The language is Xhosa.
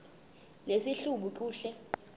nesi hlubi kule